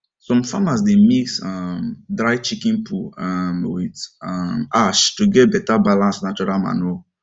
some farmers dey mix um dry chicken poo um with um ash to get better balanced natural manure